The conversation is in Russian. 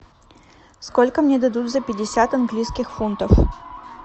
сколько мне дадут за пятьдесят английских фунтов